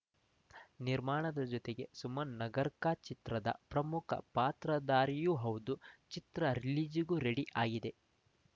ನಿರ್ಮಾಣದ ಜತೆಗೆ ಸುಮನ್‌ ನಗರ್‌ಕರ್‌ ಚಿತ್ರದ ಪ್ರಮುಖ ಪಾತ್ರಧಾರಿಯೂ ಹೌದು ಚಿತ್ರ ರಿಲೀಜಿಗೂ ರೆಡಿ ಆಗಿದೆ